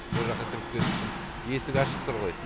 сол жаққа кіріп кету үшін есік ашық тұр ғой